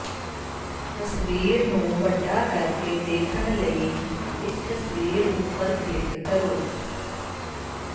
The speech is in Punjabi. ਤਸਵੀਰ ਨੂੰ ਵੱਡਾ ਕਰਕੇ ਦੇਖਣ ਲਈ ਇਸ ਤਸਵੀਰ ਉੱਪਰ ਕਲਿੱਕ ਕਰੋ